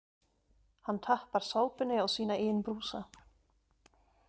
Hann tappar sápunni á sína eigin brúsa.